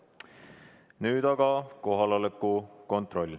Nüüd aga kohaloleku kontroll.